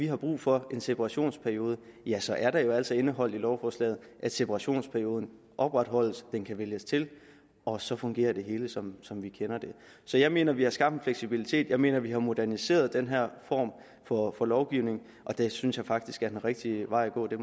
har brug for separationsperioden ja så er det jo altså indeholdt i lovforslaget at separationsperioden opretholdes den kan vælges til og så fungerer det hele som som vi kender det så jeg mener vi har skabt en fleksibilitet jeg mener vi har moderniseret den her form for lovgivning og det synes jeg faktisk er den rigtige vej at gå det